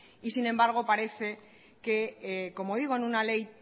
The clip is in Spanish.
y sin embargo parece que como digo en una ley